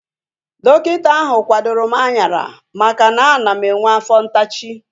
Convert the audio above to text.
Dọkịta ahu kwadoro m anyara maka na ana m enwe afọ ntachi